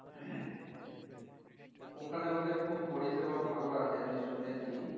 ওখানে ওদের খুব পরিষেবা ভালো আছে আমি শুনেছি